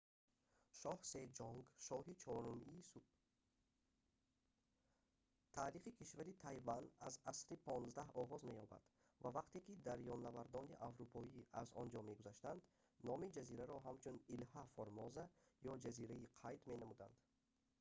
таърихи кишвари тайван аз асри xv оғоз меёбад ва вақте ки дарёнавардони аврупоӣ аз он ҷо мегузаштанд номи ҷазираро ҳамчун «илҳа формоза» ё ҷазираи қайд менамуданд